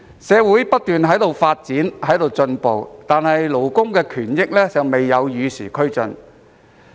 社會不斷發展進步，但勞工權益卻未能與時俱進。